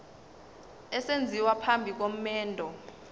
esenziwa phambi komendo